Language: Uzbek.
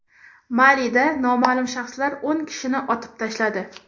Malida noma’lum shaxslar o‘n kishini otib tashladi.